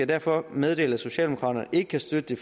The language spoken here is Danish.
derfor meddele at socialdemokraterne ikke kan støtte